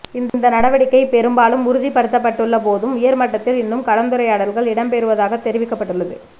இந்த நடவடிக்கை பெரும்பாலும் உறுதிப்படுத்தப்பட்டுள்ள போதும் உயர்மட்டத்தில் இன்னும் கலந்துரையாடல்கள் இடம்பெறுவதாக தெரிவிக்கப்பட்டுள்ளது